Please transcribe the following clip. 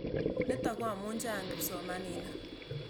Nitok ko amu chang' kipsomaninik.